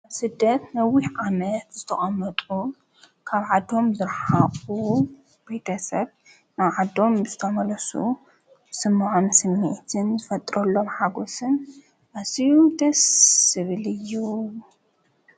ኣብስደት ነዊኅ ዓመት ዝተቐመጡ ካብ ዓቶም ዘረሓቑ ቤደሰት ና ዓዶም ምስ ተመለሱ ስምዓም ስሜትን ዘፈጥረሎም ሓጐስን ኣሢኡ ደስ ስብል እዩ።